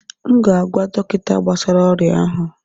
M ga-agwa dọkịta gbasara oria ahụ